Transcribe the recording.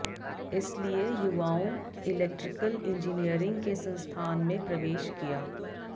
इसलिए युवाओं electrical engineering के संस्थान में प्रवेश किया